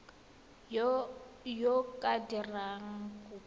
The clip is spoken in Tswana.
yo o ka dirang kopo